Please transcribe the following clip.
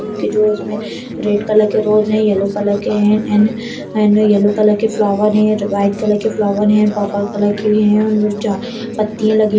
बुके जो उसमे red colour rose हैं येलो कलर के हैं एंड एंड येलो के फ्लावर हैं वाइट कलर के फ्लावर हैं पर्पल के भी हैं उनमे जो पत्तियाँ लगी --